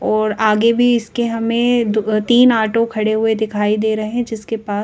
और आगे भी इसके हमें तीन आटो खड़े हुए दिखाई दे रहे हैं जिनके पास--